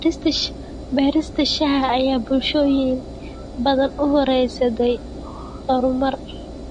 Beerista shaaha ayaa bulshooyin badan u horseeday horumar.